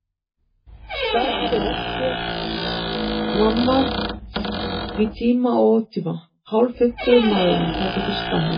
Galandi á eftir þér mamma! í tíma og ótíma, hálffimmtugur maðurinn, það er til skammar.